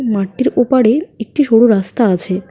মাঠটির ওপারে একটি সরু রাস্তা আছে।